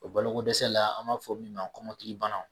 O balo ko dɛsɛ la an b'a fɔ min ma kɔmɔkili bana.